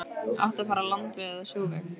Átti að fara landveg eða sjóveg?